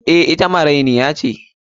Eh, ita marainiya ce.